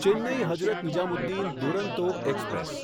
Chennai Hazrat Nizamuddin Duronto express